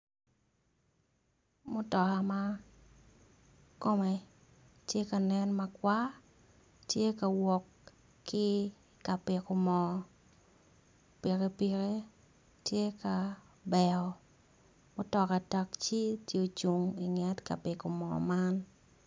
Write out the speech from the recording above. Mutoka ma kome tye ka nen makwar, tye ka wok ki i ka piko mo pikipiki tye ka beyo mutoka tacci tye ocung i nget ka piko moo man.